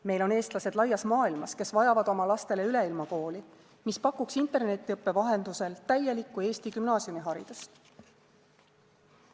Meil on eestlased laias maailmas, kes vajavad oma lastele üleilmakooli, mis pakuks internetiõppe vahendusel täielikku Eesti gümnaasiumiharidust.